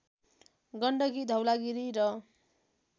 गण्डकी धवलागिरी र